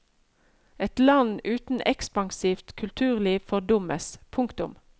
Et land uten ekspansivt kulturliv fordummes. punktum